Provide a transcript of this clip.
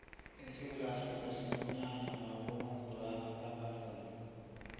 esewula afrika sinomnyanya wabonongorwana babavumi